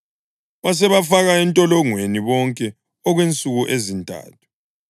Wasebafaka entolongweni bonke okwensuku ezintathu.